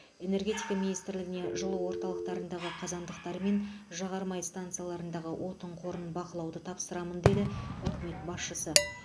энергетика министрлігіне жылу орталықтарындағы қазандықтар мен жағармай станциялардағы отын қорын бақылауды тапсырамын деді үкімет басшысы